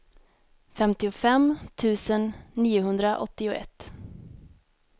femtiofem tusen niohundraåttioett